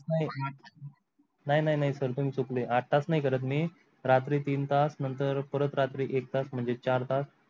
नाही नाही sir तुम्हि चुकले आठ तास नाही करत मी रात्री तीन तास नंतर परत रात्री एक तास म्हणजे चार तास.